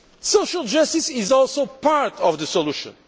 Social justice is also part of the solution.